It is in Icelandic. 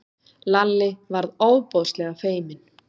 Lalli varð ofboðslega feiminn.